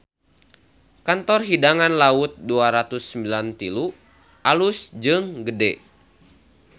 Kantor Hidangan Laut 293 alus jeung gede